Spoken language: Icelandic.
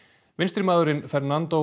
vinstrimaðurinn Fernando